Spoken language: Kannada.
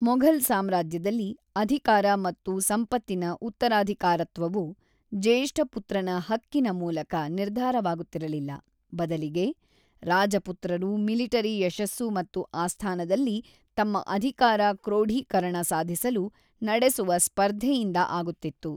ಮೊಘಲ್ ಸಾಮ್ರಾಜ್ಯದಲ್ಲಿ ಅಧಿಕಾರ ಮತ್ತು ಸಂಪತ್ತಿನ ಉತ್ತರಾಧಿಕಾರತ್ವವು ಜ್ಯೇಷ್ಠಪುತ್ರನ ಹಕ್ಕಿನ ಮೂಲಕ ನಿರ್ಧಾರವಾಗುತ್ತಿರಲಿಲ್ಲ, ಬದಲಿಗೆ ರಾಜಪುತ್ರರು ಮಿಲಿಟರಿ ಯಶಸ್ಸು ಮತ್ತು ಆಸ್ಥಾನದಲ್ಲಿ ತಮ್ಮ ಅಧಿಕಾರ ಕ್ರೋಢೀಕರಣ ಸಾಧಿಸಲು ನಡೆಸುವ ಸ್ಪರ್ಧೆಯಿಂದ ಆಗುತ್ತಿತ್ತು.